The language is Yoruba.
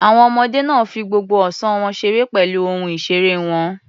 Àwọn ọmọdé náà fi gbogbo ọ̀sán wọn ṣeré pẹ̀lú ohun ìṣeré wọn.